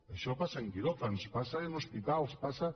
això passa en quiròfans passa en hospitals passa